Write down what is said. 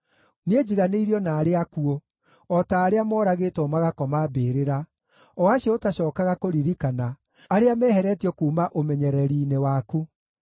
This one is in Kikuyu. Niĩ njiganĩirio na arĩa akuũ, o ta arĩa moragĩtwo magakoma mbĩrĩra, o acio ũtacookaga kũririkana, arĩa meheretio kuuma ũmenyereri-inĩ waku.